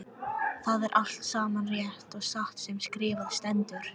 Það er allt saman rétt og satt sem skrifað stendur.